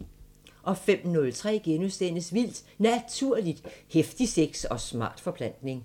05:03: Vildt Naturligt: Heftig sex og smart forplantning *